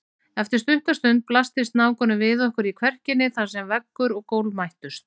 Eftir stutta stund blasti snákurinn við okkur í kverkinni þar sem veggur og gólf mættust.